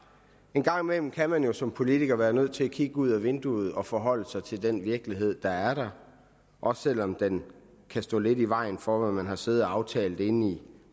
en gang imellem kan man jo som politiker være nødt til at kigge ud ad vinduet og forholde sig til den virkelighed der er der også selv om den kan stå lidt i vejen for hvad man har siddet og aftalt inde i